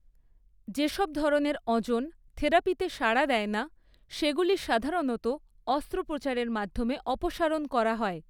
যে সব ধরনের অঁজন থেরাপিতে সাড়া দেয় না সেগুলি সাধারণত অস্ত্রোপচারের মাধ্যমে অপসারণ করা হয়।